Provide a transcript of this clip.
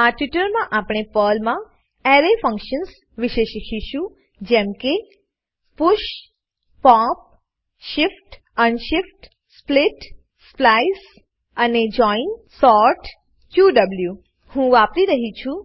આ ટ્યુટોરીયલમાં આપણે પર્લમા અરે ફંકશન્સ વિશે શીખીશું જેમ કે 000011 000010 push pop shift unshift split splice અને જોઇન સોર્ટ ક્યુએવ હું વાપરી રહ્યી છું